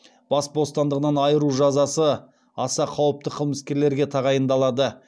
бас бостандығынан айыру жазасы аса қауіпті қылмыскерлерге тағайындалады